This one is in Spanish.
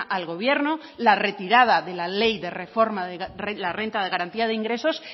al gobierno la retirada de la ley de reforma de la renta de garantía de ingresos